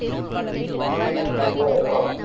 தெரியாது அக்கா